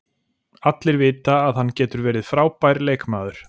Allir vita að hann getur verið frábær leikmaður.